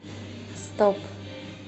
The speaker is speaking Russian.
стоп